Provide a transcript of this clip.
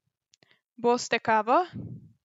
Boste kavo?